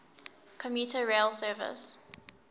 commuter rail service